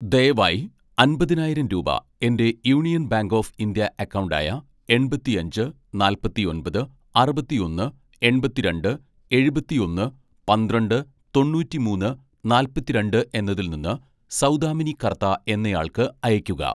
ദയവായി അമ്പതിനായിരം രൂപ എൻ്റെ union bank of India account ആയ, എൺപത്തിയഞ്ച് നാല്പത്തിയൊൻപത് അറുപത്തിയൊന്ന് എൺപത്തിരണ്ട്‌ എഴുപത്തിയൊന്ന് പന്ത്രണ്ട് തൊണൂറ്റിമൂന്ന് നാല്പത്തിരണ്ട്‌ എന്നതിൽ നിന്ന് സൗദാമിനി കർത്ത എന്നയാൾക്ക് അയക്കുക